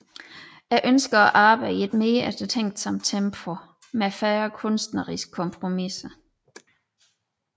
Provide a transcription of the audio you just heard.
Jeg ønsker at arbejde i et mere eftertænksomt tempo med færre kunstneristiske kompromiser